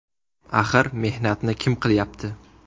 Axir mehnatni kim qilyapti.